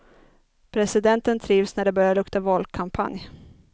Presidenten trivs när det börjar lukta valkampanj.